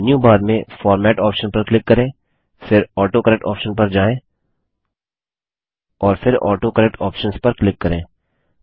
अब menu bar में format option पर क्लिक करें फिर ऑटोकरेक्ट ऑप्शन पर जायें और फिर ऑटोकरेक्ट आप्शंस पर क्लिक करें